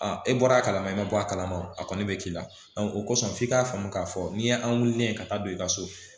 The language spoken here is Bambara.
e bɔra a kalama i ma bɔ a kalama o kɔni be k'i la o kosɔn f'i k'a faamu k'a fɔ n'i ye an wulilen ka taa don i ka so